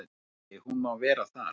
Æi, hún má vera þar.